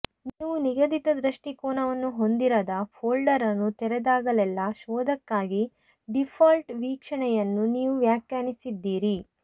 ನೀವು ನಿಗದಿತ ದೃಷ್ಟಿಕೋನವನ್ನು ಹೊಂದಿರದ ಫೋಲ್ಡರ್ ಅನ್ನು ತೆರೆದಾಗಲೆಲ್ಲಾ ಶೋಧಕಕ್ಕಾಗಿ ಡೀಫಾಲ್ಟ್ ವೀಕ್ಷಣೆಯನ್ನು ನೀವು ವ್ಯಾಖ್ಯಾನಿಸಿದ್ದೀರಿ